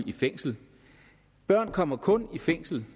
i fængsel børn kommer kun i fængsel